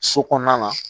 So kɔnɔna na